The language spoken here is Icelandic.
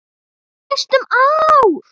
Í næstum ár.